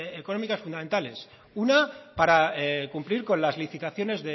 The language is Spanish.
económicas fundamentales una para cumplir con las licitaciones